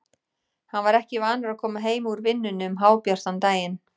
Hann var ekki vanur að koma heim úr vinnunni um hábjartan daginn.